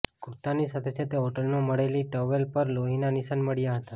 કુર્તાની સાથે સાથે હોટલમાં મળેલી ટોવેલ પર લોહીના નિશાન મળ્યા હતા